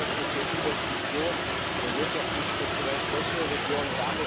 Wir brauchen öffentliche Investitionen in wirtschaftlich strukturell schwächere Regionen.